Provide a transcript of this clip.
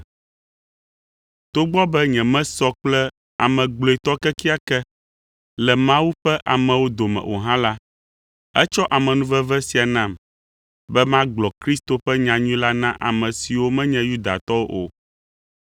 Togbɔ be nyemesɔ kple ame gblɔetɔ kekeake le Mawu ƒe amewo dome o hã la, etsɔ amenuveve sia nam be magblɔ Kristo ƒe nyanyui la na ame siwo menye Yudatɔwo o,